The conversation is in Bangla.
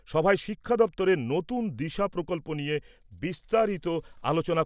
সভায় শিক্ষা দপ্তরের নতুন দিশা প্রকল্প নিয়ে বিস্তারিত আলোচনা